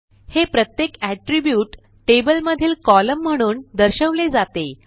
हे प्रत्येक attribute table मधील कोलम्न म्हणून दर्शवले जाते